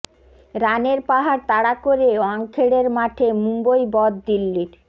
রানের পাহাড় তাড়া করে ওয়াংখেড়ের মাঠে মুম্বই বধ দিল্লির